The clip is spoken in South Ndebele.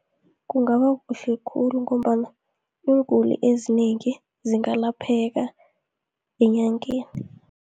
Kungaba kuhle khulu, ngombana iinguli ezinengi zingalapheka enyangeni.